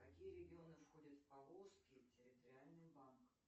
какие регионы входят в поволжский территориальный банк